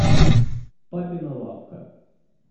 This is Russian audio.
папина лавка